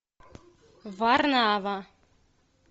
варнава